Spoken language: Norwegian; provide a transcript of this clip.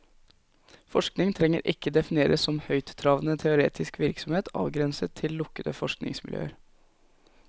Forskning trenger ikke defineres som høyttravende teoretisk virksomhet avgrenset til lukkede forskningsmiljøer.